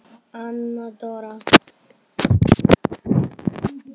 Anna Dóra.